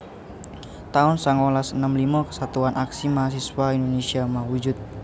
taun songolas enem limo Kesatuan Aksi Mahasiswa Indonésia mawujud